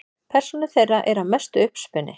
Persónur þeirra eru að mestu uppspuni.